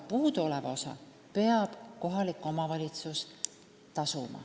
Puuduoleva osa peab tasuma kohalik omavalitsus.